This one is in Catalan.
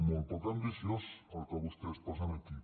molt poc ambiciós el que vostès posen aquí